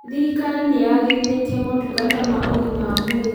Thirikari nĩyagĩrithĩtie motungata ma ũgima wa mwĩrĩ